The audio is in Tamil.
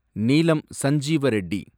நீளம் சஞ்சிவ ரெட்டி